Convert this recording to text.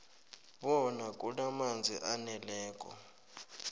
bona kunamanzi aneleko